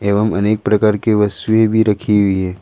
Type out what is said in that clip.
एवं अनेक प्रकार की वस्तुएं भी रखी हुई है।